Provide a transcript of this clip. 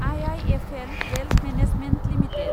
IIFL wealth management limited